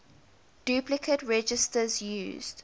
duplicate registers used